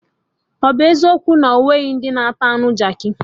Ọ bụ eziokwu na onwere ndị na-ata anụ Jaakị